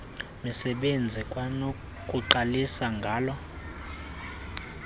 misebenzi kwanokuqalisa ngala